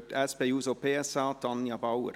die SP-JUSO-PSA-Fraktion: Tanja Bauer.